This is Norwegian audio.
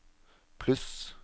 pluss